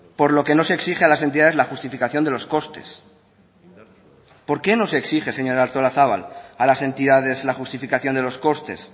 por lo que no se exige a las entidades la justificación de los costes por qué no se exige señora artolazabal a las entidades la justificación de los costes